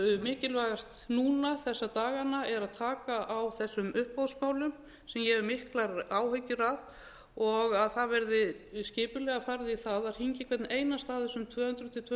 mikilvægast núna þessa dagana er að taka á þessum uppboðsmálunum sem ég hef miklar áhyggjur af og að það verði skipulega farið í það að hringja í hvern einasta af þessum tvö hundruð til tvö hundruð